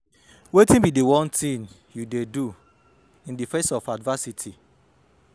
wetin be di one thing you dey do in di face of adversity?